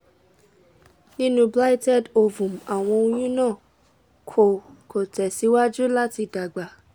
ninu blighted ovum awọn oyun na ko ko tẹsiwaju lati dagba